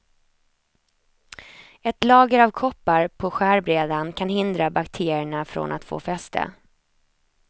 Ett lager av koppar på skärbrädan kan hindra bakterierna från att få fäste.